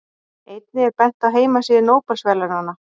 Einnig er bent á heimasíðu Nóbelsverðlaunanna.